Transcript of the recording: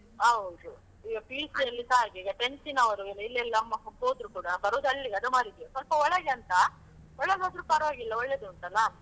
ಹೌದು. ಈಗ PUC ಯಲ್ಲಿಸಾ ಹಾಗೆ, ಈಗ tenth ನವ್ರು ಇಲ್ಲೆಲ್ಲಾ ಮಕ್ಕಳು ಹೋದ್ರು ಕೂಡಾ ಬರೋದು ಅಲ್ಲಿಗೆ ಅದಮಾರಿಗೆ, ಸ್ವಲ್ಪ ಒಳಗೆ ಅಂತ ಒಳಗಾದ್ರು ಪರ್ವಾಗಿಲ್ಲ ಒಳ್ಳೆದುಂಟಲ್ಲ.